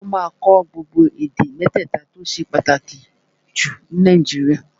Ó máa kọ́ gbogbo èdè mẹ́tẹ̀ta tó ṣe pàtàkì jù ní Nàìjíríà